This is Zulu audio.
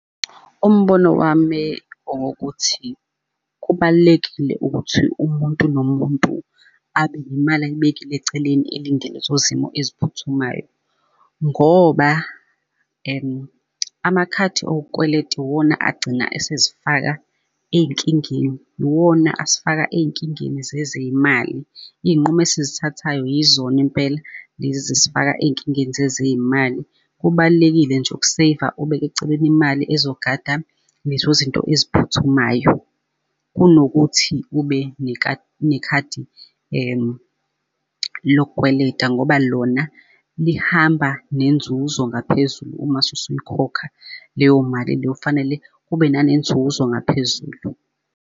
Umbono wami owokuthi kubalulekile ukuthi umuntu nomuntu abe nemali ayibekile eceleni elinde lezo zimo eziphuthumayo, ngoba amakhadi okukweleta iwona agcina esezifaka ey'nkingeni, iwona asifaka ey'nkingeni zezey'mali. Iy'nqumo engizithathayo yizona impela lezi ezisifaka ey'nkingeni zezey'mali. Kubalulekile nje uk-save-a ubeke eceleni imali ezogada lezo zinto eziphuthumayo. Kunokuthi ube nekhadi lokukweleta ngoba lona lihamba nenzuzo ngaphezulu uma usuyikhokha leyo mali leyo, and kfanele kube nanenzuzo ngaphezulu.